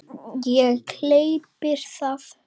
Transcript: Og gleypir það.